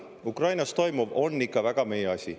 Ukrainas toimuv on ikka väga meie asi.